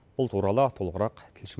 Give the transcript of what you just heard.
бұл туралы толығырақ тілші